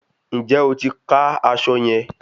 Ǹjẹ́ o ti ka aṣọ yẹn?